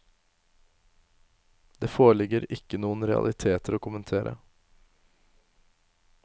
Det foreligger ikke noen realiteter å kommentere.